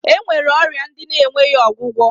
E nwere ọrịa ndị na-enweghi ọgwụgwọ